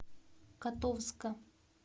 котовска